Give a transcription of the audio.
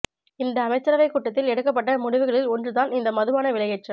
இந்த அமைச்சரவை கூட்டத்தில் எடுக்கப்பட்ட முடிவுகளில் ஒன்றுதான் இந்த மதுபான விலையேற்றம்